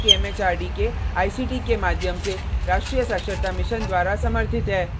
यह प्रोजेक्ट भारत सरकार के एमएचआरडी के आईसीटी के माध्यम से राष्ट्रीय साक्षरता मिशन द्वारा समर्थित है